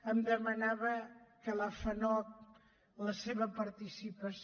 em demanava que la fanoc la seva participació